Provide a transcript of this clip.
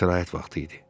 İstirahət vaxtı idi.